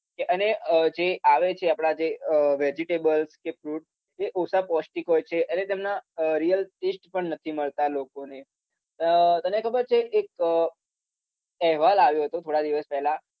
અને જે આવે છે આપડા અમ જે vegetables કે fruit એ ઓછા પૌષ્ટિક હોય છે એટલે તમને અમ real taste પણ નથી મળતા લોકોને અમ તને ખબર છે એક અહેવાલ આવ્યો તો થોડા દિવસ પહેલા